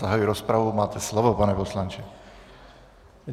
Zahajuji rozpravu, máte slovo, pane poslanče.